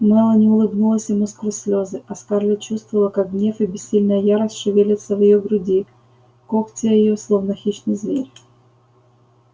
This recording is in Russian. мелани улыбнулась ему сквозь слезы а скарлетт чувствовала как гнев и бессильная ярость шевелятся в её груди когтя её словно хищный зверь